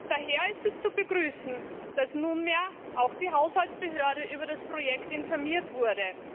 Daher ist es zu begrüßen, dass nunmehr auch die Haushaltsbehörde über das Projekt informiert wurde.